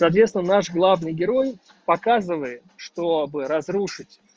соответственно наш главный герой показывает чтобы разрушить